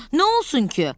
Nə olsun ki?